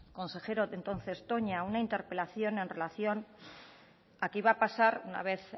consejero entonces toña una interpelación en relación a qué iba a pasar una vez